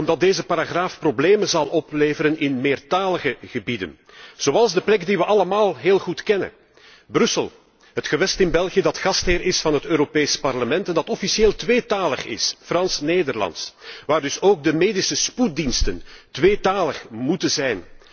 Omdat deze paragraaf problemen zal opleveren in meertalige gebieden, zoals de plek die we allemaal heel goed kennen Brussel, het gewest in België dat gastheer is van het Europees Parlement en dat officieel tweetalig is, Frans Nederlands, en waar dus ook de medische spoeddiensten tweetalig moeten zijn.